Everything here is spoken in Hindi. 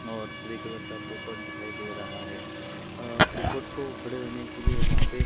और ग्रे कलर का पोपट दिखाई दे रहा है अ पोपट को खड़े रहने के लिए वहां पे--